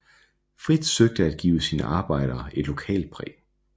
Fritz søgte at give sine arbejder et lokalt præg